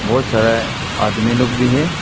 बहोत सारा आदमी लोग भी है।